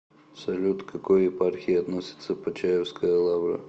салют к какой епархии относится почаевская лавра